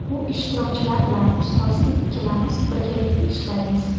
Bu ishtirokchilar bilan ustozim ikkalamiz birgalikda ishlaymiz.